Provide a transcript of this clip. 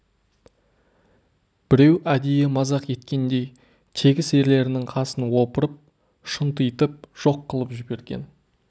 біреу әдейі мазақ еткендей тегіс ерлерінің қасын опырып шұнтитып жоқ қылып жіберген